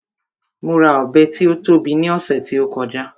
Mo ra Ọ̀bẹ tí ó tóbi ní ọ̀sẹ̀ tí ó kọjá